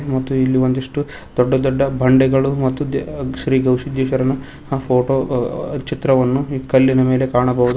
ಮತ್ತು ಇಲ್ಲಿ ಒಂದಿಷ್ಟು ದೊಡ್ಡ ದೊಡ್ದ ಬಂಡೆಗಳು ಮತ್ತು ದ ಶ್ರೀ ಗುರು ಸಿದ್ದೇಶ್ವರನ ಹ ಫೋಟೋ ಚಿತ್ರವನ್ನು ಈ ಕಲ್ಲಿನ ಮೇಲೆ ಕಾಣಬೋದು.